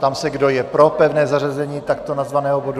Ptám se, kdo je pro pevné zařazení takto nazvaného bodu.